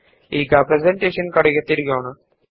ಈಗ ನಾವು ಪ್ರೆಸೆಂಟೇಶನ್ ಗೆ ಹಿಂತಿರುಗೋಣ